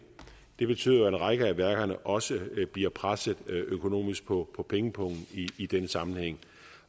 det betyder jo at en række af værkerne også bliver presset økonomisk på på pengepungen i denne sammenhæng